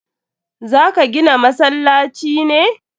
Za ka gina masallaci ne?